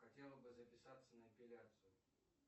хотела бы записаться на эпиляцию